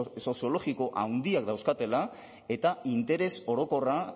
soziologiko handiak dauzkatela eta interes orokorra